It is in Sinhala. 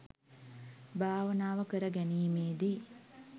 භාවනාව කර ගැනීමේදී